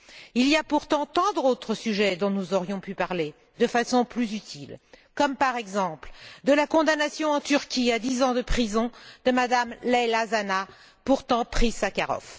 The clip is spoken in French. Il y a pourtant tant d'autres sujets dont nous aurions pu parler de façon plus utile, comme par exemple, la condamnation en Turquie à dix ans de prison de Mme Leyla Zana, pourtant prix Sakharov.